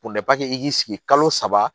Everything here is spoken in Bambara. i k'i sigi kalo saba